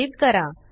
save करा